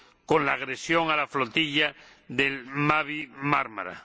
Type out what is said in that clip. con la agresión a la flotilla del Mavi Marmara